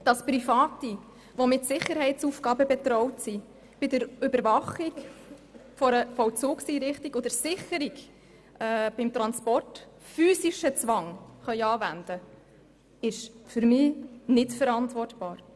Dass Private, die mit Sicherheitsaufgaben betraut sind, bei der Überwachung einer Vollzugseinrichtung und der Sicherung beim Transport physischen Zwang anwenden können, ist für mich nicht verantwortbar.